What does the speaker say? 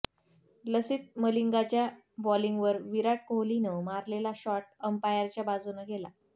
लसीथ मलिंगाच्या बॉलिंगवर विराट कोहलीनं मारलेला शॉट अंपायरच्या बाजुनं गेला